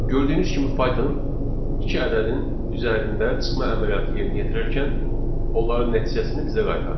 Gördüyünüz kimi Python iki ədədin üzərində çıxma əməliyyatı yerinə yetirərkən onların nəticəsini bizə qaytardı.